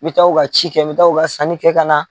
N mi taa u ka ci kɛ, n mi taa u ka sanni kɛ ka na